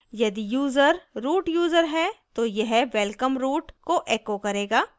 यदि user root user है तो यह welcome root! को echo करेगा